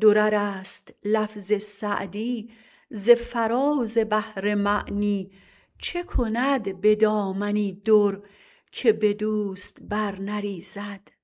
درر است لفظ سعدی ز فراز بحر معنی چه کند به دامنی در که به دوست بر نریزد